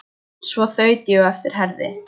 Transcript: Svo þaut ég á eftir Herði.